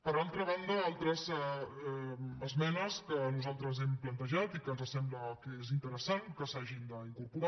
per altra banda altres esmenes que nosaltres hem plantejat i que ens sembla que és interesant que s’hi hagin d’incorporar